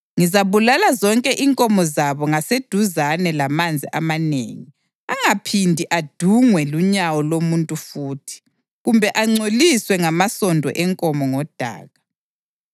Ngizabulala zonke inkomo zabo ngaseduzane lamanzi amanengi angaphindi adungwe lunyawo lomuntu futhi kumbe angcoliswe ngamasondo enkomo ngodaka.